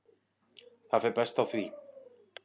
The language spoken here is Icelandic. Það fer best á því.